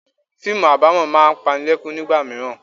Fíìmù abamo máa ń panilekun nígbà mìíràn.